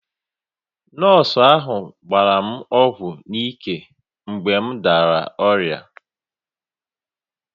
Nọọsụ ahụ gbara m ọgwụ n’ike mgbe m dara ọrịa